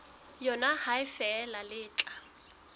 yona ha feela le tla